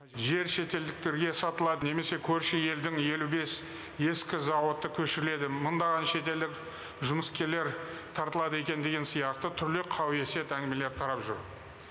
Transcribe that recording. жер шетелдіктерге сатылады немесе көрші елдің елу бес ескі зауыты көшіріледі мыңдаған шетелдік жұмыскерлер тартылады екен деген сияқты түрлі қауесет әңгімелер тарап жүр